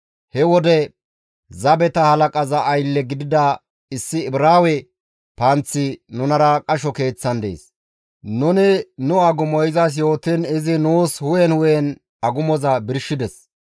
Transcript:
He wode zabeta halaqaza aylle gidida issi Ibraawe panththi nunara qasho keeththan dees. Nuni nu agumo izas yootiin izi nuus hu7en hu7en nu agumo birshides.